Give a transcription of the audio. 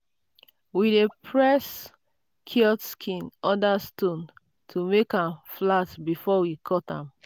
we dey press cured skin under stone to make am flat before we cut am.